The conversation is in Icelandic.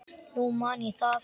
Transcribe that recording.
Nú man ég það!